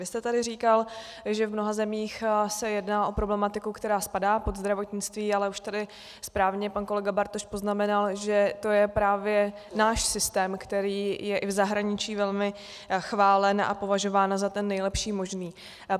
Vy jste tady říkal, že v mnoha zemích se jedná o problematiku, která spadá pod zdravotnictví, ale už tady správně pan kolega Bartoš poznamenal, že to je právě náš systém, který je i v zahraničí velmi chválen a považován za ten nejlepší možný.